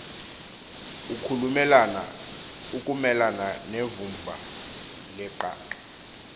ukumelana nevumba leqaqa